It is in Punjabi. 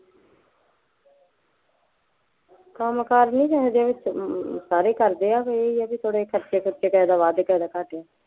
ਕੰਮ ਕਾਰ ਨਹੀਂ ਇਹੋ ਜਿਹੇ ਵਿੱਚ ਅਮ ਸਾਰੇ ਕਰਦੇ ਹੈ, ਬਈ ਇਹ ਹੈ ਕਿ ਥੋੜ੍ਹੇ ਖਰਚੇ ਖੂਰਚੇ ਕਿਸੇ ਦਾ ਵੱਧ ਕਿਸੇ ਦਾ ਘੱਟ